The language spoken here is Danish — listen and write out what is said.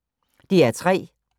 DR P3